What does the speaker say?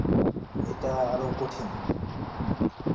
এটা আরো কঠিন